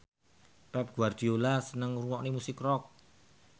Pep Guardiola seneng ngrungokne musik rock